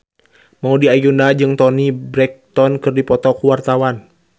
Maudy Ayunda jeung Toni Brexton keur dipoto ku wartawan